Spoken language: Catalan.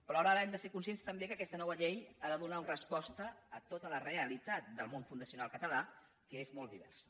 però alhora hem de ser conscients també que aquesta nova llei ha de donar resposta a tota la realitat del món fundacional català que és molt diversa